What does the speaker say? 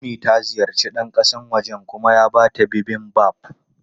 Ummi ta ziyarci ɗan kasan wajen kuma ya ba ta Bibimbap.